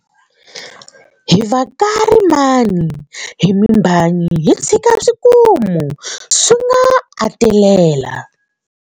Hi va ka rimani hi mimbhanyi hi tshika swikomu swi nga athelela,